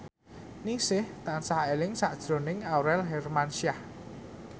Ningsih tansah eling sakjroning Aurel Hermansyah